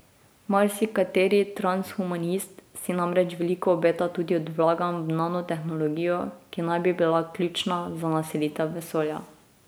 Marsikateri transhumanist si namreč veliko obeta tudi od vlaganj v nanotehnologijo, ki naj bi bila ključna za naselitev vesolja.